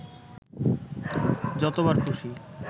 যতবার খুশি